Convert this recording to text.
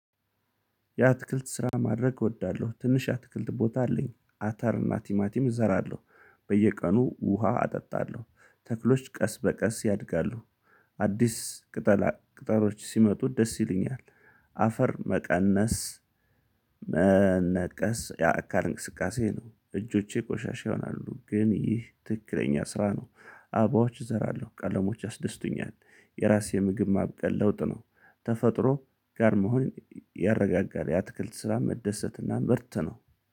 የአትክልት ስራ ማድረግ እወዳለሁ ትንሽ አትክልት ቦታ አለኝ አተርና ቲማቲም እዘራለሁ በየቀኑ ውሃ አጠጣለሁ ተክሎች ቀስ በቀስ ያድጋሉ አዲስ ቅጠላ ቅጠሎች ሲመጡት ደስ ይለኛል። አፈር መቀነስ። መነቀስ የአካል እንቅስቃሴ ነው እጆቼ ቆሻሻ ይሆናሉ ግን ይህ ትክክለኛ ስራ ነው። አበባዎች እዘራለሁ ቀለሞች ያስደስቱኛል። የራሴ ምግብ ማብቀል ለውጥ ነው። ተፈጥሮ ጋር መሆን ያረጋጋል። የአትክልት ስራ መደሰትና ምርት ነው